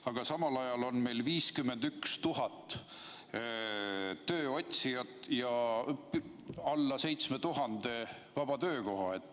Aga samal ajal on meil endal 51 000 tööotsijat ja alla 7000 vaba töökoha.